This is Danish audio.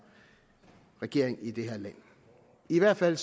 regering i det her land i hvert fald